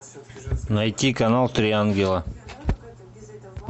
найти канал три ангела